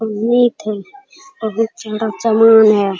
और मिट है बहुत ज्यादा समान है।